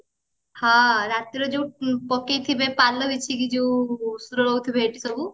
ହଁ ରାତିରେ ଯୋଉ ପକେଇଥିବେ ପାଲ ବିଛେଇକି ଯୋଉ ରହୁଥିବେ ହେଇଠି ସବୁ